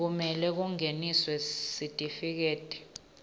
kumele kungeniswe sitifiketi